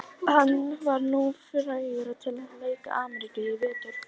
Hann var nú fenginn til að lækna Ameríkana í vetur.